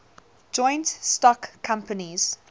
joint stock companies